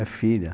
É filha.